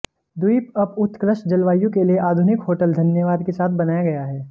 द्वीप अप उत्कृष्ट जलवायु के लिए आधुनिक होटल धन्यवाद के साथ बनाया गया है